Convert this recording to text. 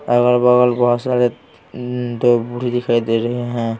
अगल बगल बहुत सारे तो बूढ़ी दिखाई दे रही हैं।